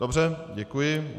Dobře, děkuji.